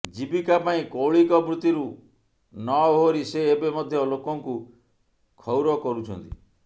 ଜୀବିକା ପାଇଁ କୌଳିକ ବୃତ୍ତିରୁ ନ ଓହରି ସେ ଏବେ ମଧ୍ୟ ଲୋକଙ୍କୁ କ୍ଷୌର କରୁଛନ୍ତି